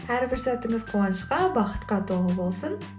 әрбір сәтіңіз қуанышқа бақытқа толы болсын